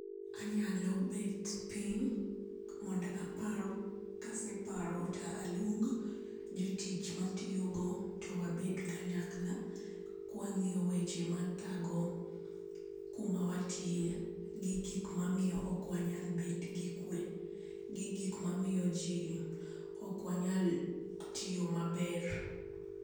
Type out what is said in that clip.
Anyalo bet piny mondo apar, ka aseparo to aluong jo tich ma atiyo go to wabed kanyakla, ka wang'iyo weche ma thago ku ma watiye, gi gik ma miyo ok wanya bedo gi kwe gi gik ma miyo ok wanyal tiyo ma ber.